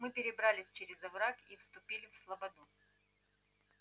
мы перебрались через овраг и вступили в слободу